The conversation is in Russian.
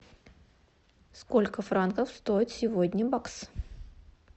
сколько франков стоит сегодня бакс